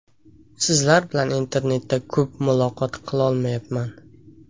Sizlar bilan internetda ko‘p muloqot qilolmayapman.